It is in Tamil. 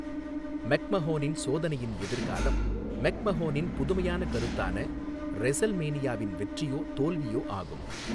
மெக்மஹோனின் சோதனையின் எதிர்காலம் மெக்மஹோனின் புதுமையான கருத்தான ரெஸல்மேனியாவின் வெற்றியோ தோல்வியோ ஆகும்.